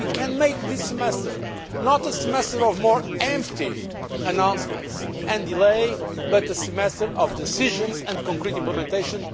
We can therefore make this semester not a semester of more empty announcements and delay, but a semester of decisions and concrete implementation.